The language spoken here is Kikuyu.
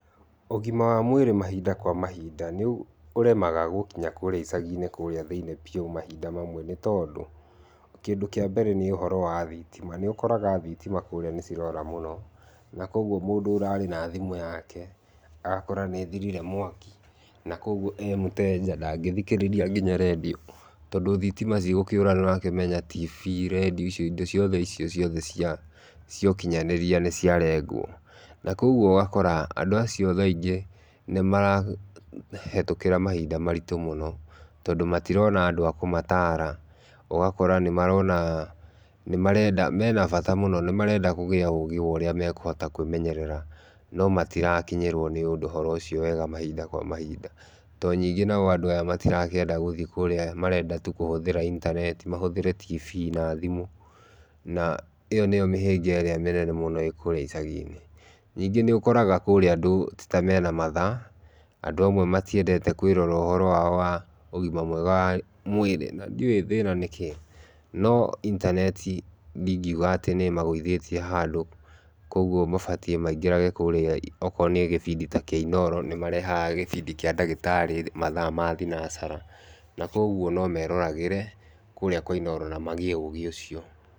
Ũgima wa mwĩrĩ mahinda kwa mahinda nĩũremaga gũkinya gĩcaginĩ kũrĩa thĩinĩ biũ mahinda mamwe nĩtondũ, kĩndũ kĩa mbere nĩ ũhoro wa thitima, nĩũkoraga thitima kũrĩa nĩcirora mũno na kwoguo mũndũ ararĩ na thimũ yake agakora nĩthirire mwaki na kwoguo emuteja ndangĩthikĩrĩria nginya redio tondũ thitima cigũkĩũra nĩũramenya tv,redio indo ciothe icio ciothe cia ũkinyanĩrĩa nĩciarengwo, na kwoguo ũgakora andũ acio thaa ingĩ nĩmarahĩtũkĩra mahinda maritũ mũno tondũ matĩrona andũ makũmatara ũgakora nĩmarona menabata mũno nĩmarenda kũgĩa ũgĩ wa ũrĩa mekũhota kwĩmenyerera no matirakĩnyĩrwa nĩ ũhoro ũcio wega mahinda kwa mahinda, tondũ ningĩ andũ aya matirakĩenda gũthiĩ kũrĩa marenda tu kũhũthĩra intaneti mahũthĩra tv na thimũ na ĩyo nĩyo mĩhĩnga ĩrĩa mĩnene mũno kũrĩa icaginĩ, ningĩ nĩũkoraga kũrĩa andũ tĩ tena mathaa, andũ amwe matiendete kwĩrora ũgima wao wa mwĩrĩ na ndioĩ thĩna nĩ kí, no intaneti ndingĩũga nĩmagwĩthĩtie handũ, kwoguo mabatie kwĩngĩraga kũria okorwo nĩ gĩbindi kĩa Inooro nĩmarehaga gĩbindi kĩa ndagĩtarĩ mathaa ma thinasara kwoguo nomemororagĩre kũrĩa kwa Inooro na magĩe ũgĩ ũcio.